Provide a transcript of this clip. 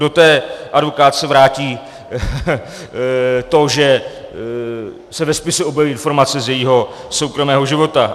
Kdo té advokátce vrátí to, že se ve spisu objeví informace z jejího soukromého života?